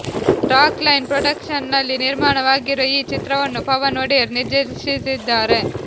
rock line production ನಲ್ಲಿ ನಿರ್ಮಾಣವಾಗಿರುವ ಈ ಚಿತ್ರವನ್ನು ಪವನ್ ಒಡೆಯರ್ ನಿರ್ದೇಶಿಸಿದ್ದಾರೆ